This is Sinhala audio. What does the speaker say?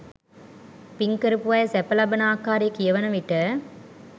පින් කරපු අය සැප ලබන ආකාරය කියවන විට